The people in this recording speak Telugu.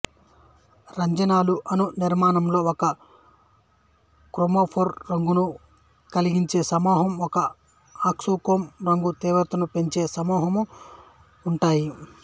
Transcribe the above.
రంజనాలు అణు నిర్మాణములో ఒక క్రోమోఫోర్ రంగును కలిగించే సమూహం ఒక ఆక్సోక్రోమ్ రంగు తీవ్రతను పెంచే సమూహము ఉంటాయి